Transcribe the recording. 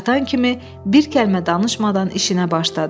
Çatan kimi bir kəlmə danışmadan işinə başladı.